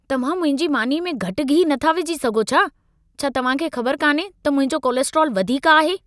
तव्हां मुंहिंजी मानीअ में घटि घी नथा विझी सघो छा? छा तव्हां खे ख़बर कान्हे त मुंहिंजो कोलेस्ट्रोल वधीक आहे?